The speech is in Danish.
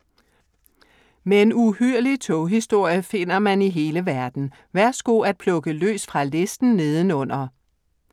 Men uhyrlig toghistorie finder man i hele verden. Værsgo' at plukke løs fra listen herunder.